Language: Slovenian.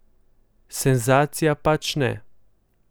Senzacija pač ne.